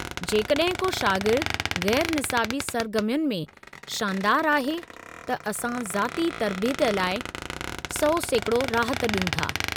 जेकॾहिं को शागिर्द गै़रु निसाबी सरगर्मियुनि में शानदारु आहे त असां ज़ाती तरबियत लाइ 100% राहत ॾियूं था।